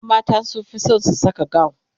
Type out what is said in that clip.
ƴan mata sunfi San su Saka gawun